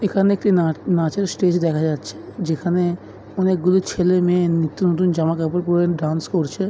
এখানে একটি নাচ নাচের স্টেজ দেখা যাচ্ছে যেখানে অনেকগুলি ছেলে-মেয়ে নিত্য নতুন জামা কাপড় পড়ে ডান্স করছে ।